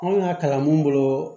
An ka kalan mun bolo